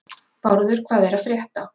Bárður, hvað er að frétta?